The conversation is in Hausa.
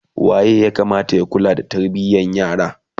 waye ya Kamata ya kula da tarbiyan yara?